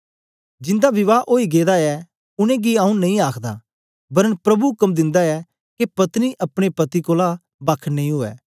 जिन्दा विवाह ओई गेदा ऐ उनेंगी आऊँ नेई आखदा वरन प्रभु उक्म दिन्दा ऐ के पत्नी अपने पति कोलां बक्ख नेई उवै